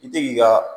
I tɛ k'i ka